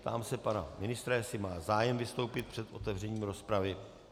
Ptám se pana ministra, jestli má zájem vystoupit před otevřením rozpravy.